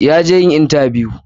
ya je shi intabiyu.